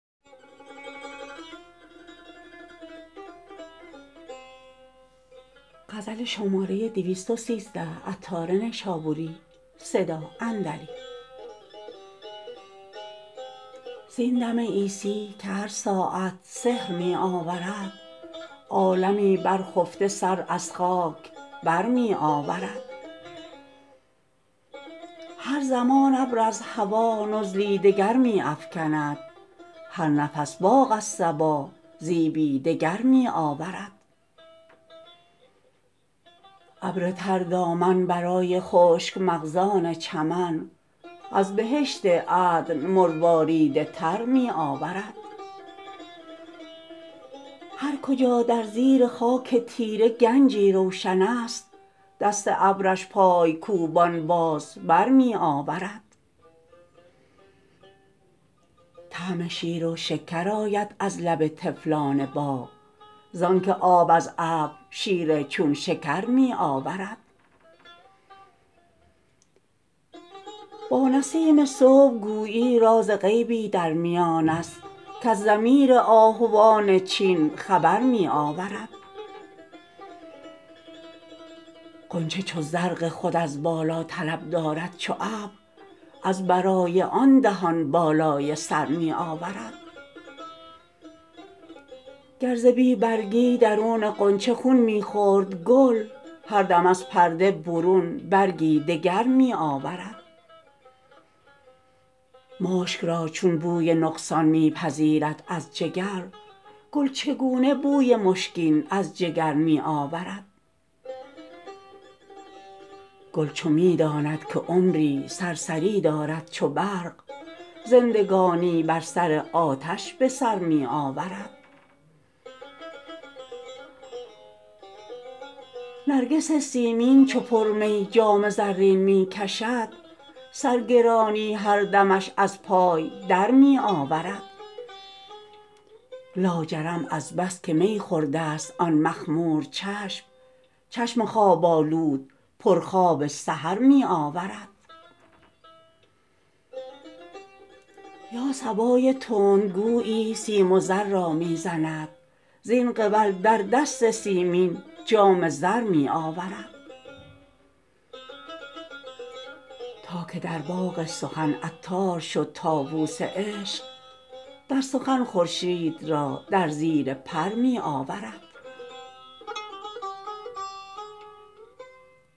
زین دم عیسی که هر ساعت سحر می آورد عالمی بر خفته سر از خاک بر می آورد هر زمان ابر از هوا نزلی دگر می افکند هر نفس باغ از صبا زیبی دگر می آورد ابر تر دامن برای خشک مغزان چمن از بهشت عدن مروارید تر می آورد هر کجا در زیر خاک تیره گنجی روشن است دست ابرش پای کوبان باز بر می آورد طعم شیر و شکر آید از لب طفلان باغ زانکه آب از ابر شیر چون شکر می آورد با نسیم صبح گویی راز غیبی در میانست کز ضمیر آهوان چین خبر می آورد غنچه چون رزق خود از بالا طلب دارد چو ابر از برای آن دهان بالای سر می آورد گر ز بی برگی درون غنچه خون می خورد گل هر دم از پرده برون برگی دگر می آورد مشک را چون بوی نقصان می پذیرد از جگر گل چگونه بوی مشکین از جگر می آورد گل چو می داند که عمری سرسری دارد چو برق زندگانی بر سر آتش به سر می آورد نرگس سیمین چو پر می جام زرین می کشد سر گرانی هر دمش از پای در می آورد لاجرم از بس که می خورده است آن مخمور چشم چشم خواب آلود پر خواب سحر می آورد یا صبای تند گویی سیم و زر را می زند زین قبل در دست سیمین جام زر می آورد تا که در باغ سخن عطار شد طاووس عشق در سخن خورشید را در زیر پر می آورد